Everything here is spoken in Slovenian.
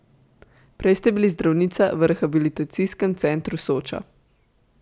Prej ste bili zdravnica v Rehabilitacijskem centru Soča.